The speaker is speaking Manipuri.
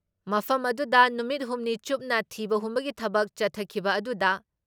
ꯃꯐꯝ ꯑꯗꯨꯗ ꯅꯨꯃꯤꯠ ꯍꯨꯝꯅꯤ ꯆꯨꯞꯅ ꯊꯤꯕ ꯍꯨꯝꯕꯒꯤ ꯊꯕꯛ ꯆꯠꯊꯈꯤꯕ ꯑꯗꯨꯗ